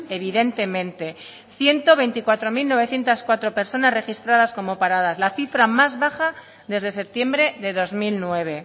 evidentemente ciento veinticuatro mil novecientos cuatro personas registradas como paradas la cifra más baja desde septiembre de dos mil nueve